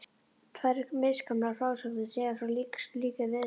Tvær misgamlar frásagnir segja frá slíkri viðleitni.